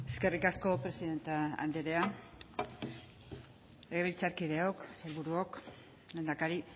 eskerrik asko presidente andrea legebiltzarkideok sailburuok lehendakari